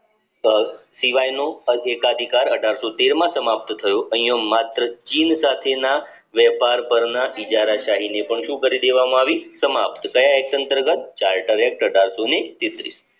સિવાયનો અધિકાર અઢારશોને તેર માં સમાપ્ત થયો અહીંયા માત્ર જીવ જાતિના વેપાર પરના ઇજારા શાહી ને પણ શું કરી દેવામાં આવી સમાપ્ત કાયા act અંતર્ગત charter act અઢારસો ને તેત્રીશ